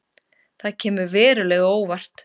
Það kemur verulega á óvart